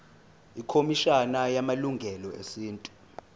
ikhomishana yamalungelo esintu